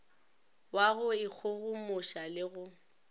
wa go ikgogomoša le go